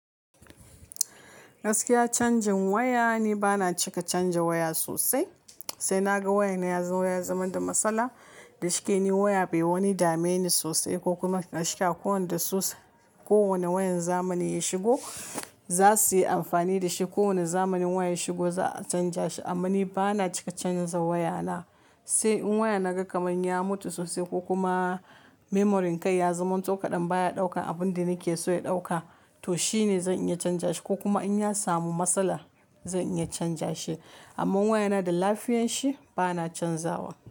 Gaskiya canjin waya ni bana cika canja waya sosai. Sai na ga wayana yazo ya zama da matsala. Dashike ni waya bai wani dame ni sosai ko kuma dashike ko wanda su. Ko wane wayar zamani ya shigo za suyi amfani da shi. Ko wane zamanin waya ya shigo za a canja shi. Amma ni bana cika canza wayana. Sai in waya na ga kamar ya mutu sosai ko kuma memory kai ya zaman to kaɗan baya ɗaukan abun da nake so ya ɗauka to shine zan iya canja shi ko kuma in ya samu matsala zan iya canja shi. Amma wayana da lafiyan shi bana canzawa.